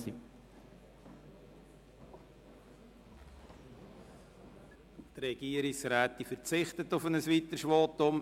Die Regierungsrätin verzichtet auf ein weiteres Votum.